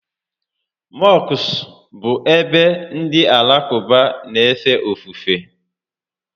Mọskụ bụ ebe ndị Alakụba n'éfè ofufè